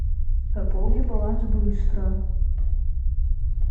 пополни баланс быстро